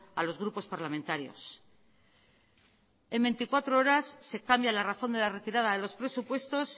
a los grupos parlamentarios en veinticuatro horas se cambia la razón de la retirada de los presupuestos